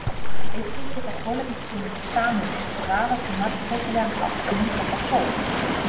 Einnig geta kolefnisfrumeindir sameinast og raðast á margbreytilegan hátt og mynda þá sót.